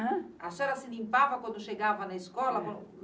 ãn? A senhora se limpava quando chegava na escola?